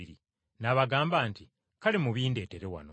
N’abagamba nti, “Kale mubindetere wano.”